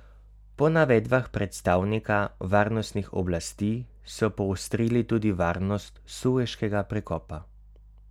Po navedbah predstavnika varnostnih oblasti so poostrili tudi varnost Sueškega prekopa.